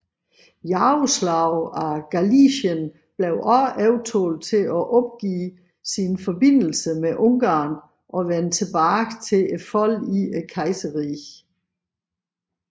Yaroslav af Galicien blev også overtalt til at opgive sine forbindelser med Ungarn og vende tilbage til kejserrigets fold